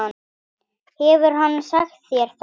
Hefur hann sagt þér það?